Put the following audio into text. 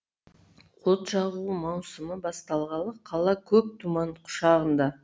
от жағу маусымы басталғалы қала көк тұман құшағында